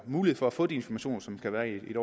mulighed for at få de informationer som skal være i